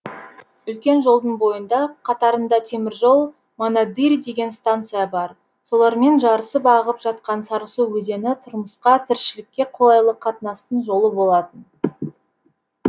үлкен жолдың бойында қатарында теміржол монадырь деген станция бар солармен жарысып ағып жатқан сарысу өзені тұрмысқа тіршілікке қолайлы қатынастың жолы болатын